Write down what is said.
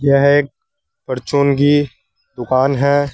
यह एक परचून की दुकान है।